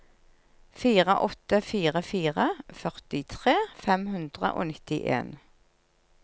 fire åtte fire fire førtitre fem hundre og nittien